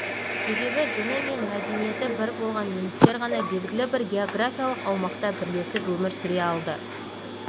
себебі діні мен мәдениеті бір болған немістер ғана белгілі бір георгафиялық аумақта бірлесіп өмір сүре алды